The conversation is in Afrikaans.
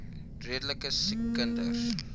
redelike siek kinders